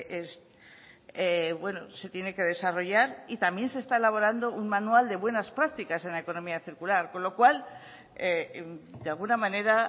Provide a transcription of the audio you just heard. es bueno se tiene que desarrollar y también se está elaborando un manual de buenas prácticas en la economía circular con lo cual de alguna manera